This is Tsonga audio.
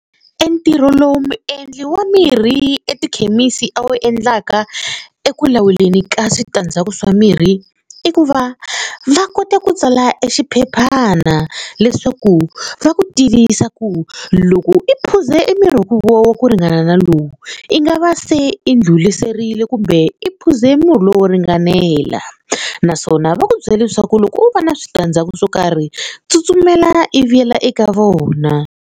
Entirho lowu muendli wa mirhi etikhemisi a wu endlaka eku lawuleni ka switandzhaku swa mirhi i ku va va kota ku tsala exiphephana leswaku va ku tivisa ku ku loko i phuze emirhi wo wa ku ringana na lowu i nga va se i ndlhuriserile kumbe i phuze murhi lowu wo ringanela naswona va ku byela leswaku loko wo va na switandzhaku swo karhi tsutsumela i vuyela eka vona.